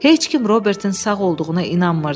Heç kim Robertin sağ olduğuna inanmırdı.